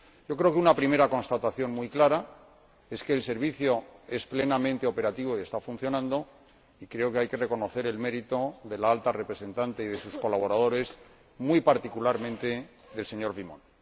Creo que una primera constatación muy clara es que el Servicio es plenamente operativo y está funcionando y creo que hay que reconocer el mérito de la Alta Representante y de sus colaboradores, muy particularmente del señor Vimont.